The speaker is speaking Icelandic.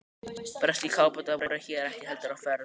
Breskir kafbátar voru hér ekki heldur á ferð.